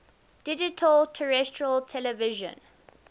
digital terrestrial television